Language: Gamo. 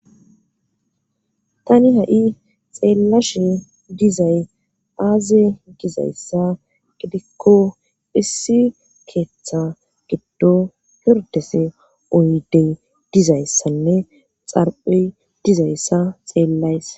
Tani ha7i xeellashe dizay aaze gizayssa gidikko issi keeththa giddo pirdese oydey dizayssanne xarpe dizayssa xeellayssa